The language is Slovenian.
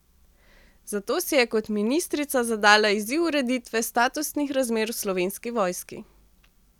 Zato si je kot ministrica zadala izziv ureditve statusnih razmer v Slovenski vojski.